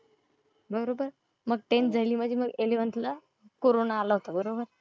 बरोबर? मग टेंथ झाली माझी मग इलेव्हन्थ ला कोरोना आला होता बरोबर?